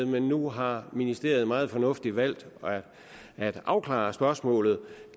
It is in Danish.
men nu har ministeriet meget fornuftigt valgt at afklare spørgsmålet